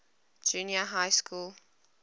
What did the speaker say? junior high school